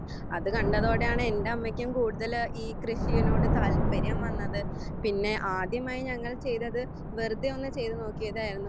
അത് കണ്ടതോടെയാണ് എൻ്റെ അമ്മയ്ക്കും ഈ കൃഷിയോട് താല്പര്യം വന്നത് പിന്നെ ആദ്യമായി ഞങ്ങൾ ചെയ്‌തത്‌ വെറുതെയൊന്നു ചെയ്തുനോക്കിയതായിരുന്നു